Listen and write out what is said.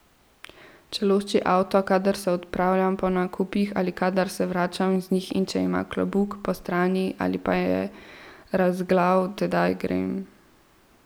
Če lošči avto, kadar se odpravljam po nakupih ali kadar se vračam z njih, in če ima klobuk postrani ali pa je razoglav, tedaj grem.